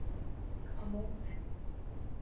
Á móti